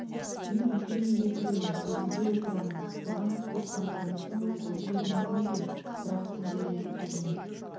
мен үлкен үйге кіремін төрінде отырамын соған туысқандарыңыздың көзі үйренер ме екен бір - ақ күнде үйренеді